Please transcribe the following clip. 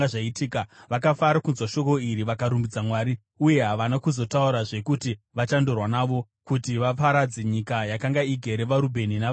Vakafara kunzwa shoko iri vakarumbidza Mwari. Uye havana kuzotaurazve kuti vachandorwa navo, kuti vaparadze nyika yakanga igere vaRubheni navaGadhi.